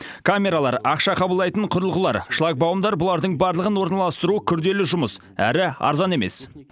камералар ақша қабылдайтын құрылғылар шлагбаумдар бұлардың барлығын орналастыру күрделі жұмыс әрі арзан емес